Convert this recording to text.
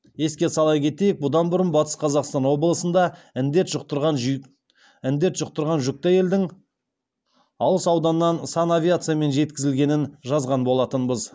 еске сала кетейік бұдан бұрын батыс қазақстан облысында індет жұқтырған жүкті әйелдің алыс ауданнан санавиациямен жеткізілгенін жазған болатынбыз